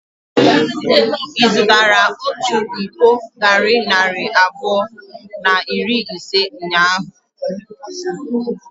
Ị zụtara otu iko garri narị abụọ na iri ise ụnyahụ?